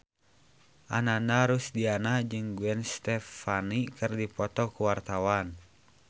Ananda Rusdiana jeung Gwen Stefani keur dipoto ku wartawan